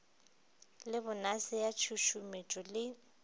le bonase ya tšhušumetšo le